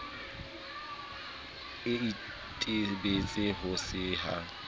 e itebetse ho se ya